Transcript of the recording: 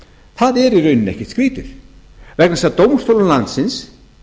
það er í rauninni ekkert skrýtið vegna þess að dómstólum landsins